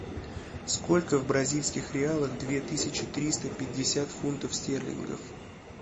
сколько в бразильских реалах две тысячи триста пятьдесят фунтов стерлингов